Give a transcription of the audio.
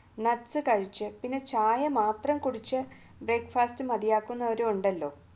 nuts കഴിച്ച് ചായ മാത്രം കുടിച്ച് brecfast മതിയാക്കുന്നവര് ഉണ്ടല്ലോ